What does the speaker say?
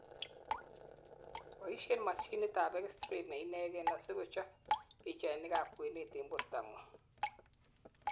boishen mashinit ab x ray neinegen asikochob pichainik ab kwenet en bortangung